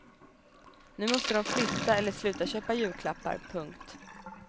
Nu måste de flytta eller sluta köpa julklappar. punkt